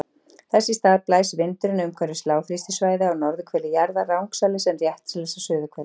Þess í stað blæs vindurinn umhverfis lágþrýstisvæði á norðurhveli jarðar rangsælis en réttsælis á suðurhveli.